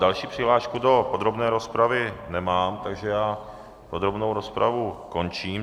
Další přihlášku do podrobné rozpravy nemám, takže já podrobnou rozpravu končím.